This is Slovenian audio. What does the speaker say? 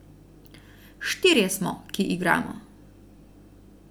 Štirje smo, ki igramo.